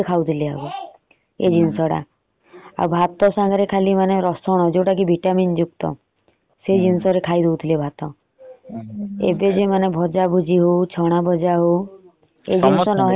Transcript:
ଆଉ ଭାତ ସାଙ୍ଗରେ ଖାଲି ରସୁଣ ଟିକେ ଜୌତ କି vitamin ଯୁକ୍ତ ସେଇ ଜିନିଷରେ ଖାଇ ଦଉଥିଲେ ଭାତ। ଏବେ ଯୋଉମାନେ ଭଜା ଭଜୀ ହଉ ଛଣା ନାହଲେ ନ ଚାଲେ ।